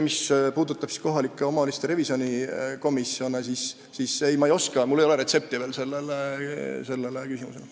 Mis puudutab kohalike omavalitsuste revisjonikomisjone, siis sellele küsimusele ma ei oska vastata, mul ei ole veel retsepti.